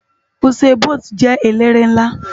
Usain Bólt jè éléré nlá